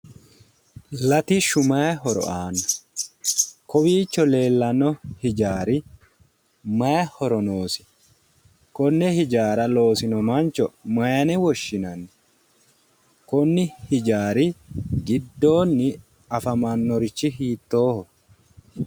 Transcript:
Latishshu maayi horo aano? Kowiicho leeellano hijaari maayi horo noosi? Konne hijaara loosino mancho mayiine woshshinanni ? konni hijaari giddoonni afamannorichi hiittooho?